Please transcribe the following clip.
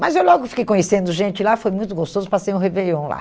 Mas eu logo fiquei conhecendo gente lá, foi muito gostoso, passei um réveillon lá.